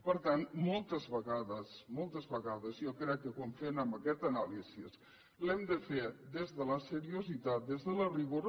per tant moltes vegades moltes vegades jo crec que quan fem aquesta anàlisi l’hem de fer des de la seriositat des del rigor